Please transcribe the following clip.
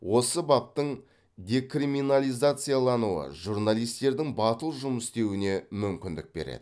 осы баптың декриминализациялануы журналистердің батыл жұмыс істеуіне мүмкіндік береді